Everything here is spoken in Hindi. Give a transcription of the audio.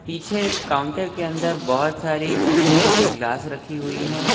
पीछे ए काउंटर के अंदर बहुत सारी शीशे की ग्लास रखी हुई है।